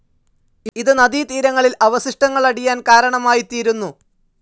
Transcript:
ഇത് നദീതീരങ്ങളിൽ അവശിഷ്ടങ്ങളടിയാൻ കാരണമായിത്തീരുന്നു.